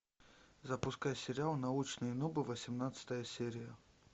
запускай сериал научные нубы восемнадцатая серия